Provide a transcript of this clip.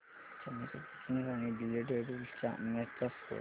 Chennai Super Kings आणि Delhi Daredevils च्या match चा स्कोअर